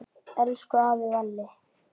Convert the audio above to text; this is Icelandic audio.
Elsku afi Valli!